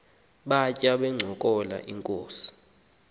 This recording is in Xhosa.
batya bencokola inkos